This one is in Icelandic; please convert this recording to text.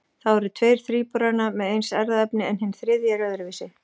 Þá eru tveir þríburana með eins erfðaefni en hinn þriðji er öðruvísi.